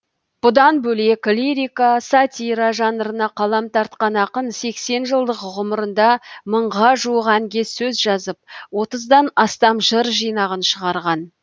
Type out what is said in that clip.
бұдан бөлек лирика сатира жанрына қалам тартқан ақын сексен жылдық ғұмырында мыңға жуық әнге сөз жазып отыздан астам жыр жинағын шығарған